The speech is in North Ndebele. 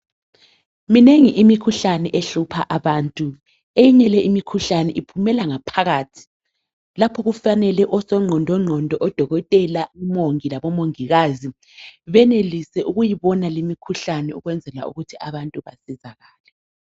Minengi imikhuhlane ehlupha abantu. Eyinye le imikhuhlane iphumela ngaphakathi lapho okufanele osongqondongqondo odokotela, omongi labomongikazi benelise ukuyibona lemikhuhlane ukwenzela ukuthi abantu balulame.